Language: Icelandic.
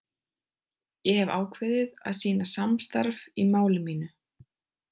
Ég hef ákveðið að sýna samstarf í máli mínu.